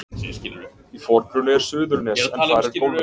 Í forgrunni er Suðurnes en þar er golfvöllur.